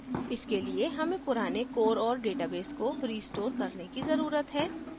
इसके लिए हमें पुराने core औऱ database को restore करने की जरूरत है